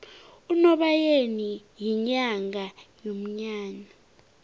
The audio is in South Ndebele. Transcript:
unobayeni yinyanga yomnyanya